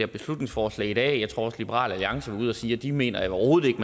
beslutningsforslag i dag jeg tror også liberal alliance var ude at sige at de mener overhovedet